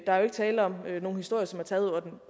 der er jo ikke tale om nogle historier som er taget